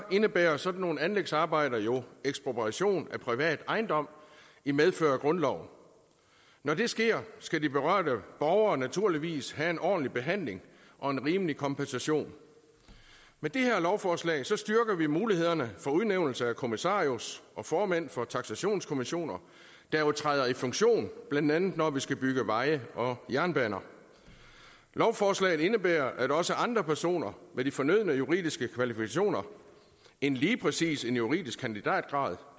indebærer sådan nogle anlægsarbejder jo ekspropriation af privat ejendom i medfør af grundloven når det sker skal de berørte borgere naturligvis have en ordentlig behandling og en rimelig kompensation med det her lovforslag styrker vi mulighederne for udnævnelse af kommissarius og formænd for taksationskommissioner der jo træder i funktion blandt andet når vi skal bygge veje og jernbaner lovforslaget indebærer at også andre personer med de fornødne juridiske kvalifikationer end lige præcis en juridisk kandidatgrad